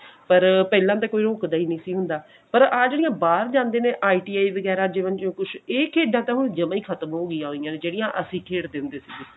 ਪਰ ਪਹਿਲਾਂ ਤਾਂ ਕੋਈ ਰੁੱਕਦਾ ਹੀ ਨਹੀਂ ਸੀ ਹੁੰਦਾ ਪਰ ਆਹ ਜਿਹੜੀ ਬਾਹਰ ਜਾਂਦੇ ਨੇ ITI ਵਗੇਰਾ ਜਿਵੇਂ ਜੋ ਕੁੱਛ ਇਹ ਖੇਡਾਂ ਤਾਂ ਹੁਣ ਜਮਾ ਹੀ ਖਤਮ ਹੋ ਗਈਆਂ ਹੋਇਆ ਜਿਹੜੀਆਂ ਅਸੀਂ ਖੇਡਦੇ ਹੁੰਦੇ ਸੀਗੇ